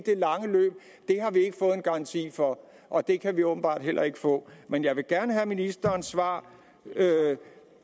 garanti for og det kan vi åbenbart heller ikke få men jeg vil gerne have ministerens svar